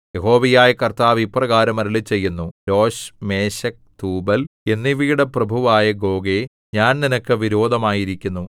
യഹോവയായ കർത്താവ് ഇപ്രകാരം അരുളിച്ചെയ്യുന്നു രോശ് മേശെക് തൂബൽ എന്നിവയുടെ പ്രഭുവായ ഗോഗേ ഞാൻ നിനക്ക് വിരോധമായിരിക്കുന്നു